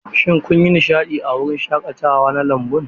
Shin kun yi nishadi a wurin shaƙatawa na lambun?